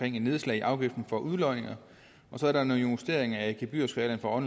et nedslag i afgiften for udlodninger og så er der nogle justeringer af gebyrskalaen for